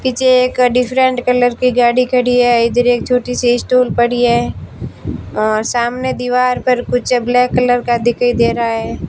पीछे एक different colour की गाड़ी खड़ी है इधर एक छोटी सी स्टूल पड़ी है और सामने दीवार पर कुछ ब्लैक कलर का दिखाई दे रहा है।